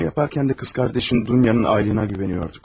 Bunu edərkən də bacın Dunyanın ailəsinə güvənirdik.